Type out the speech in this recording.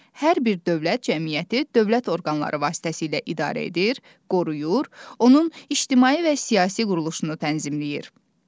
Hər bir dövlət cəmiyyəti dövlət orqanları vasitəsilə idarə edir, qoruyur, onun ictimai və siyasi quruluşunu tənzimləyir.